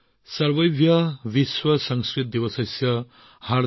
সৰ্বভ্য বিশ্বসংস্কৃতদিৱস আন্তৰিক শুভেচ্ছা